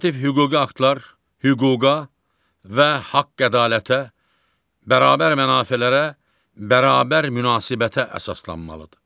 Normativ hüquqi aktlar hüquqa və haqq ədalətə, bərabər mənafelərə, bərabər münasibətə əsaslanmalıdır.